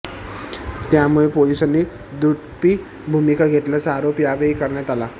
त्यामुळे पोलिसांनी दुट्टपी भूमिका घेतल्याचा आरोप यावेळी करण्यात आला